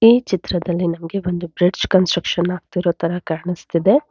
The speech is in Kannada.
ಈ ಚಿತ್ರದಲ್ಲಿ ನಮ್ಗೆ ಒಂದು ಬ್ರಿಡ್ಜ್ ಕನ್ಸ್ಟ್ರಕ್ಷನ್ ಆಗ್ತಿರೋ ತರ ಕಾಣಿಸ್ತಿದೆ.